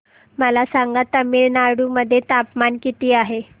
मला सांगा तमिळनाडू मध्ये तापमान किती आहे